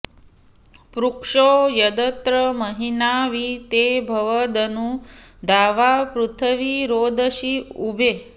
पृक्षो यदत्र महिना वि ते भुवदनु द्यावापृथिवी रोदसी उभे